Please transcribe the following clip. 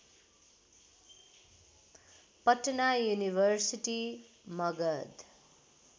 Patna university Magadh